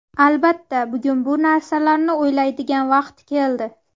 Albatta, bugun bu narsalarni o‘ylaydigan vaqt keldi.